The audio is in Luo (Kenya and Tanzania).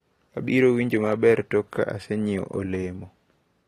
Abiro winjo maber tok ka asenyiewo olemo.